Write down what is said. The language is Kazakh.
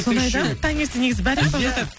соны айтам таңертең негізі бәрі ұйықтаватады